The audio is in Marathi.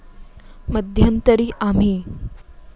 मध्यंतरी आम्ही.